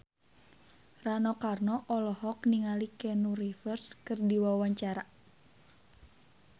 Rano Karno olohok ningali Keanu Reeves keur diwawancara